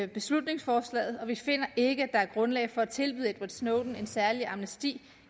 beslutningsforslaget og vi finder ikke at der er grundlag for at tilbyde edward snowden en særlig amnesti